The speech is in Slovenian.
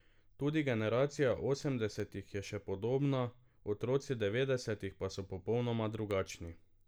Tudi generacija osemdesetih je še podobna, otroci devetdesetih pa so popolnoma drugačni.